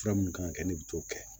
Fura minnu kan ka kɛ ne bɛ t'o kɛ